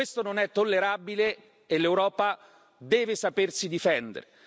Questo non è tollerabile e l'Europa deve sapersi difendere!